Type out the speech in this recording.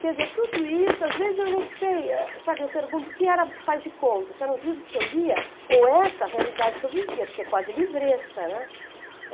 Quer dizer, tudo isso, às vezes eu não sei, sabe, eu pergunto o que era de faz de conta, se eram os livros que eu lia ou essa realidade que eu vivia, porque é quase livresca, né?